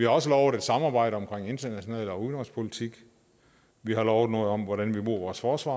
også lovet et samarbejde om international politik og udenrigspolitik vi har lovet noget om hvordan vi bruger vores forsvar